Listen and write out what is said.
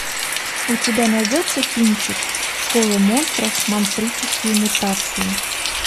у тебя найдется кинчик школа монстров монстрические мутации